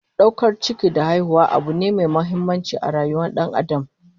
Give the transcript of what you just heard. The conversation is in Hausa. Daukar ciki da haihuwa abu ne mai muhimmanci a rayuwar Dan Adam